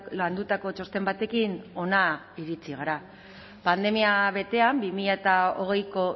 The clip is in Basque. landutako txosten batekin hona iritsi gara pandemia betean bi mila hogeiko